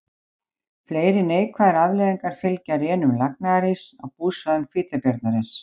Fleiri neikvæðar afleiðingar fylgja rénun lagnaðaríss á búsvæðum hvítabjarnarins.